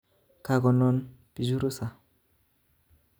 Kakonon bichu rusa